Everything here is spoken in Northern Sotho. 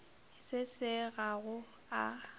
se se ga go a